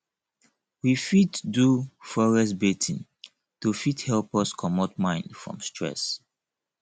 we fit do forest bathing to fit help us comot mind from stress